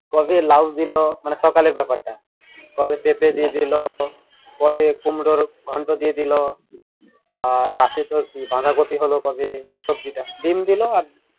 কবে লাউ দিলো মানে সকালের ব্যাপারটা কবে পেঁপে দিয়ে দিলো কবে কুমড়োর ঘন্ট দিয়ে দিলো আহ রাতে তোর কি বাঁধাকপি হলো কবে সব্জিটা ডিম দিলো আর